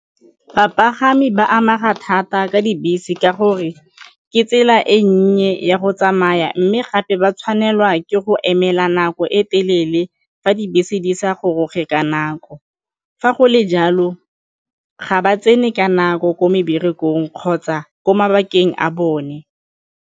Bapagami ba amega thata ka dibese ka gore ke tsela e nnye ya go tsamaya mme gape ba tshwanelwa ke go emela nako e telele fa dibese di sa goroge ka nako, fa go le jalo ga ba tsene ka nako ko meberekong kgotsa ko mabakeng a bone.